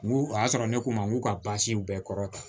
N k'u y'a sɔrɔ ne ko n ma n k'u ka baasi bɛɛ kɔrɔta